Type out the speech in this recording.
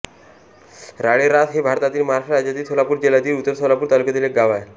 राळेरास हे भारतातील महाराष्ट्र राज्यातील सोलापूर जिल्ह्यातील उत्तर सोलापूर तालुक्यातील एक गाव आहे